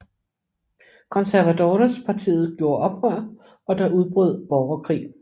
Conservadorespartiet gjorde oprør og der udbrød borgerkrig